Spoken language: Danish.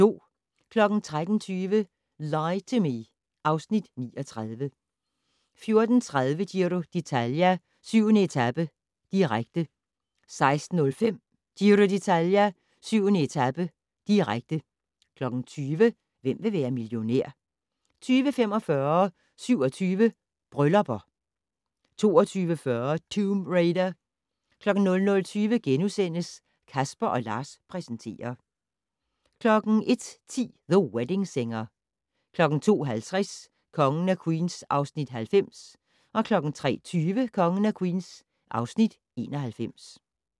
13:20: Lie to Me (Afs. 39) 14:30: Giro d'Italia: 7. etape, direkte 16:05: Giro d'Italia: 7. etape, direkte 20:00: Hvem vil være millionær? 20:45: 27 Bryllupper 22:40: Tomb Raider 00:20: Casper & Lars præsenterer * 01:10: The Wedding Singer 02:50: Kongen af Queens (Afs. 90) 03:20: Kongen af Queens (Afs. 91)